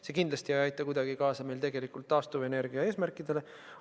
See ei aita kindlasti kuidagi kaasa meie taastuvenergia eesmärkide täitmisele.